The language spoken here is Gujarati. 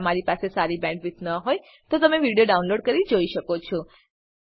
જો તમારી પાસે સારી બેન્ડવિડ્થ ન હોય તો તમે વિડીયો ડાઉનલોડ કરીને જોઈ શકો છો